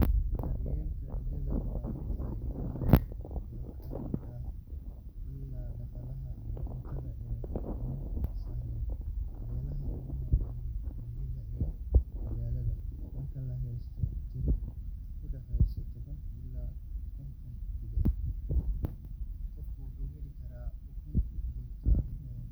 Daryeelka digaagga waa mid faa’iido badan leh oo ka mid ah ilaha dhaqaalaha iyo cuntada ee ugu sahlan beelaha ku nool miyiga iyo magaalada. Marka la haysto tiro u dhexeysa toban ilaa konton digaag, qofka wuxuu heli karaa ukun joogto ah